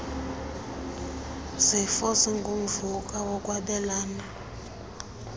zifo zingumvuka wokwabelana